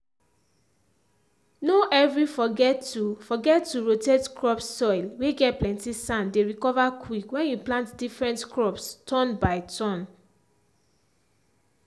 no every forget to forget to rotate crops soil whey get plenty sand dey recover quick when you plant different crops turn by turn.